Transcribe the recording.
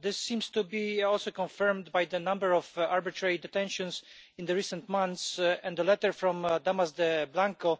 This seems to be also confirmed by the number of arbitrary detentions in the recent months and a letter from the